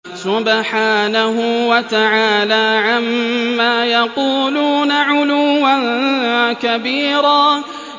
سُبْحَانَهُ وَتَعَالَىٰ عَمَّا يَقُولُونَ عُلُوًّا كَبِيرًا